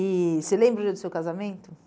E você lembra de seu casamento?